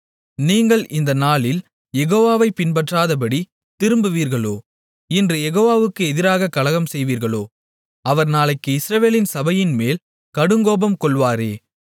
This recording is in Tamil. நீங்கள் இந்த நாளில் யெகோவாவைப் பின்பற்றாதபடித் திரும்புவீர்களோ இன்று யெகோவாவுக்கு எதிராகக் கலகம் செய்வீர்களோ அவர் நாளைக்கு இஸ்ரவேலின் சபையின்மேல் கடுங்கோபங்கொள்வாரே